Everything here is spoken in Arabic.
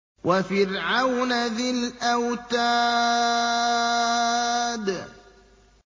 وَفِرْعَوْنَ ذِي الْأَوْتَادِ